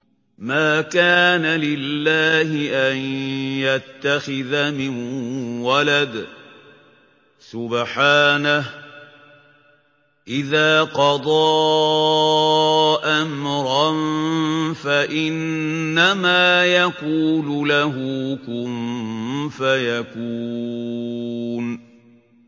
مَا كَانَ لِلَّهِ أَن يَتَّخِذَ مِن وَلَدٍ ۖ سُبْحَانَهُ ۚ إِذَا قَضَىٰ أَمْرًا فَإِنَّمَا يَقُولُ لَهُ كُن فَيَكُونُ